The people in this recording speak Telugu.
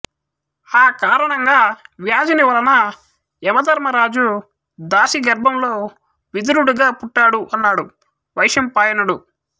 ఆ కారణంగా వ్యాసుని వలన యమధర్మరాజు దాసీ గర్భంలో విదురుడుగా పుట్టాడు అన్నాడు వైశంపాయనుడు